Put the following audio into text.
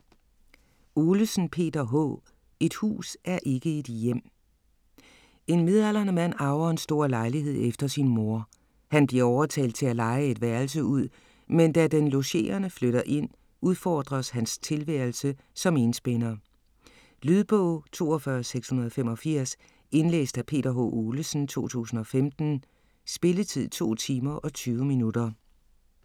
Olesen, Peter H.: Et hus er ikke et hjem En midaldrende mand arver en stor lejlighed efter sin mor. Han bliver overtalt til at leje et værelse ud, men da den logerende flytter ind udfordres hans tilværelse som enspænder. Lydbog 42685 Indlæst af Peter H. Olesen, 2015. Spilletid: 2 timer, 20 minutter.